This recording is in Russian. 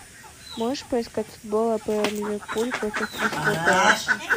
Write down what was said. можешь поискать футбол апл ливерпуль против кристал пэласа